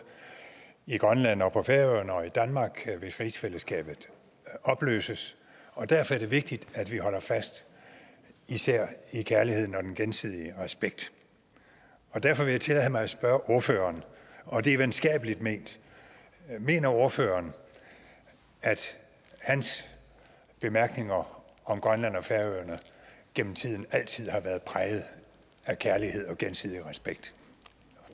i grønland og på færøerne og i danmark hvis rigsfællesskabet opløses og derfor er det vigtigt at vi holder fast i især kærligheden og den gensidige respekt derfor vil jeg tillade mig at spørge ordføreren og det er venskabeligt ment mener ordføreren at hans bemærkninger om grønland og færøerne gennem tiden altid har været præget af kærlighed og gensidig respekt